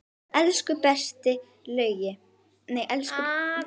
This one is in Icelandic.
Elsku besti afi Laugi.